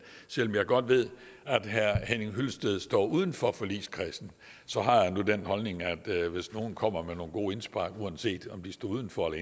selv om jeg godt ved at herre henning hyllested står uden for forligskredsen så har jeg nu den holdning at hvis nogen kommer med nogle gode indspark uanset om de står uden for